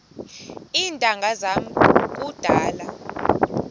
iintanga zam kudala